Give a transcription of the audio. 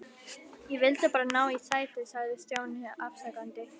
Ég vildi bara ná í sæti sagði Stjáni afsakandi.